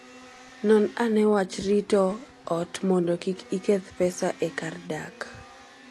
Non ane wach rito ot mondo kik iketh pesa e kar dak.